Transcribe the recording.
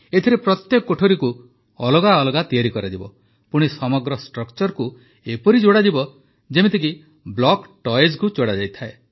ଏଥିରେ ପ୍ରତ୍ୟେକ କୋଠରିକୁ ଅଲଗା ଅଲଗା ତିଆରି କରାଯିବ ପୁଣି ସମଗ୍ର ଷ୍ଟ୍ରକ୍ଚରକୁ ଏପରି ଯୋଡ଼ାଯିବ ଯେପରିକି ବ୍ଲକ୍ ଟଏଜକୁ ଯୋଡ଼ାଯାଏ